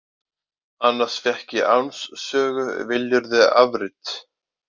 Annars fékk ég Áns sögu, viljirðu afrit.